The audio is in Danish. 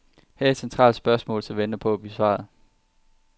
Her er et centralt spørgsmål, som venter på at blive besvaret.